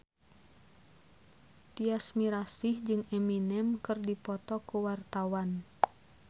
Tyas Mirasih jeung Eminem keur dipoto ku wartawan